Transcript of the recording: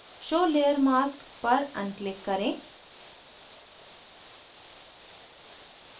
show layer mask पर unclick करें